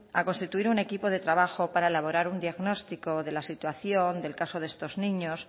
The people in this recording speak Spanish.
a constituir un equipo de trabajo para elaborar un diagnóstico de la situación del caso de estos niños